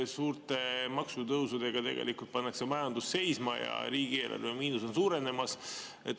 Suurte maksutõusudega pannakse majandus tegelikult seisma ja riigieelarve miinus on suurenemas.